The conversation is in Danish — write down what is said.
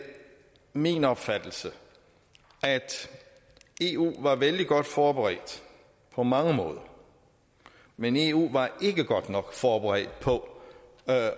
min opfattelse at eu var vældig godt forberedt på mange måder men eu var ikke godt nok forberedt på